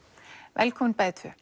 velkomin bæði tvö